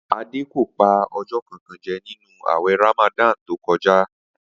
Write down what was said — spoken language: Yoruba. Adé kò pa o̩jó̩ kànkan je̩ nínú àwè̩ Ramadan tó ko̩já